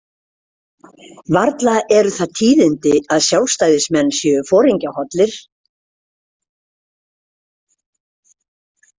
Varla eru það tíðindi að Sjálfstæðismenn séu foringjahollir.